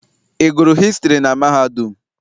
Ị gụrụ hịstrị na mahadum?